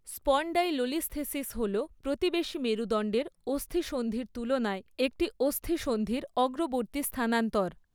Spondylolisthesis হল প্রতিবেশী মেরূদণ্ডের অস্থিসন্ধির তুলনায় একটি অস্থিসন্ধির অগ্রবর্তী স্থানান্তর।